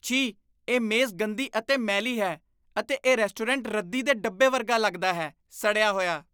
ਛੀ! ਇਹ ਮੇਜ਼ ਗੰਦੀ ਅਤੇ ਮੈਲੀ ਹੈ ਅਤੇ ਇਹ ਰੈਸਟੋਰੈਂਟ ਰੱਦੀ ਦੇ ਡੱਬੇ ਵਰਗਾ ਲੱਗਦਾ ਹੈ, ਸੜਿਆ ਹੋਇਆ!!